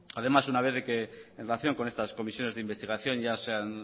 además una vez de que en relación con estas comisiones de investigación ya se han